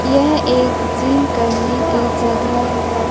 यह एक सीन करने की जगह है।